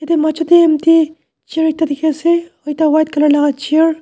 yatae machor chair ekta dikhiase ekta white colour laka chair .